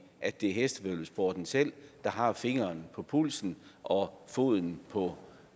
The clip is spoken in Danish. at det er hestevæddeløbssporten selv der har fingeren på pulsen og foden på